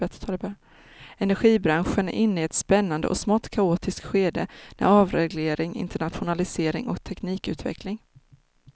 Energibranschen är inne i ett spännande och smått kaotiskt skede med avreglering, internationalisering och teknikutveckling.